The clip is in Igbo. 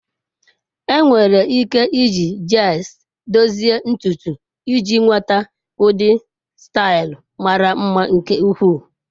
Enwere ike iji gels dozie ntutu iji nweta ụdị staịl mara mma nke ukwuu.